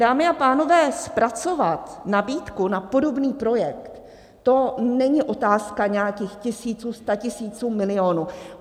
Dámy a pánové, zpracovat nabídku na podobný projekt, to není otázka nějakých tisíců, statisíců, milionů.